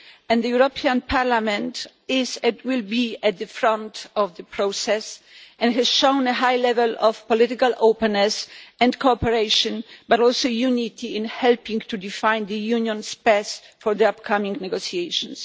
The European Parliament is, and will be, at the forefront of the process and has shown a high level of political openness and cooperation, but also unity, in helping to define the Union's path for the upcoming negotiations.